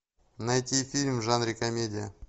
найти фильм в жанре комедия